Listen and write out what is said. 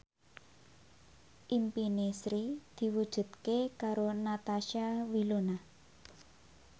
impine Sri diwujudke karo Natasha Wilona